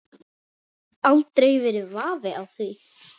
Aldrei verið vafi á því.